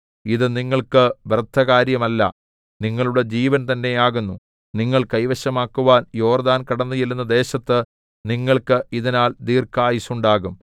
ഇതു നിങ്ങൾക്ക് വ്യർത്ഥകാര്യമല്ല നിങ്ങളുടെ ജീവൻതന്നെ ആകുന്നു നിങ്ങൾ കൈവശമാക്കുവാൻ യോർദ്ദാൻ കടന്നുചെല്ലുന്ന ദേശത്ത് നിങ്ങൾക്ക് ഇതിനാൽ ദീർഘായുസ്സുണ്ടാകും